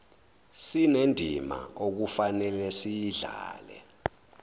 sinendima okufanele siyidlale